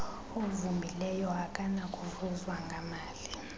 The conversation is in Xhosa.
ovumileyo akanakuvuzwa ngamali